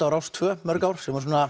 á Rás tvö í mörg ár